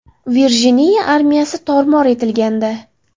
Virjiniya armiyasi tor-mor etilgandi.